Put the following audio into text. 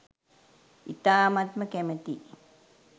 ඉතාමත්ම කැමතියි